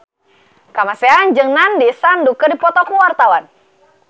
Kamasean jeung Nandish Sandhu keur dipoto ku wartawan